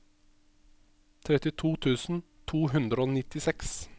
trettito tusen to hundre og nittiseks